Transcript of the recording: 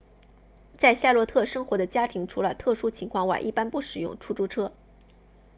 在夏洛特 charlotte 生活的家庭除了特殊情况外一般不使用出租车